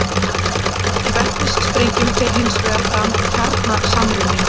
í vetnissprengjum fer hins vegar fram kjarnasamruni